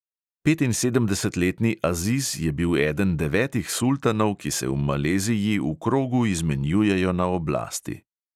Petinsedemdesetletni aziz je bil eden devetih sultanov, ki se v maleziji v krogu izmenjujejo na oblasti.